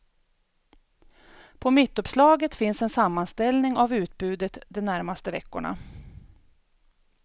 På mittuppslaget finns en sammanställning av utbudet de närmaste veckorna.